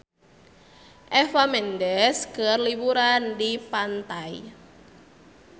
Eva Mendes keur liburan di pantai